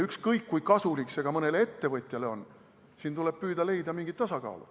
Ükskõik, kui kasulik see mõnele ettevõtjale on, siin tuleb püüda leida mingit tasakaalu.